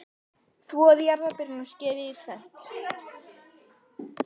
Þvoið jarðarberin og skerið í tvennt.